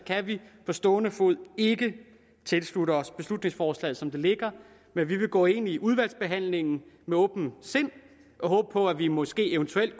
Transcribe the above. kan vi på stående fod ikke tilslutte os beslutningsforslaget som det ligger men vi vil gå ind i udvalgsbehandlingen med åbent sind og håbe på at vi måske eventuelt